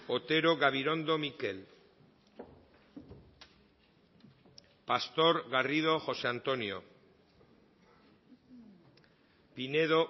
otero gabirondo mikel pastor garrido josé antonio pinedo